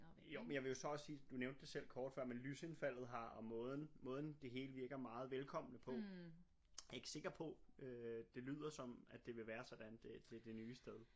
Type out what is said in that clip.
Jo men jeg vil jo så også sige du nævnte det selv kort før men lysindfaldet har og måden måden det hele virker meget velkommende på jeg ikke sikker på øh det lyder som det vil være sådan det det nye sted